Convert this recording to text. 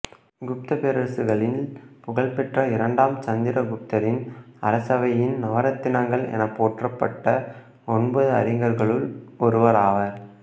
குப்தப் பேரரசர்களில் புகழ்பெற்ற இரண்டாம் சந்திர குப்தரின் அரசவையின் நவரத்தினங்கள் எனப்போற்றப்பட்ட ஒன்பது அறிஞர்களில் ஒருவராவர்